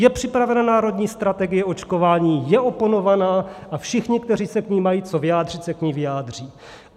Je připravena národní strategie očkování, je oponována a všichni, kteří se k ní mají co vyjádřit, se k ní vyjádří.